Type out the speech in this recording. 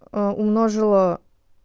аа умножила